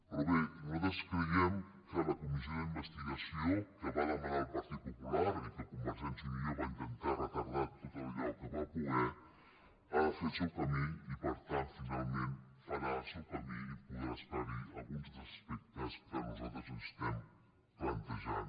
però bé nosaltres creiem que la comissió d’investigació que va demanar el partit popular i que convergència i unió va intentar retardar tot el que va poder ha de fer el seu camí i per tant finalment farà el seu camí i podrà esclarir alguns dels aspectes que nosaltres ens estem plantejant